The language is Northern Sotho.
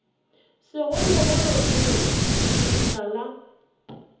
segologolo se re lebitla la